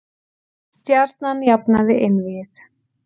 Stjarnan jafnaði einvígið